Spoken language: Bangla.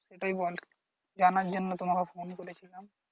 সেটাই বলা, জানার জন্য তোমাকে phone করেছিলাম।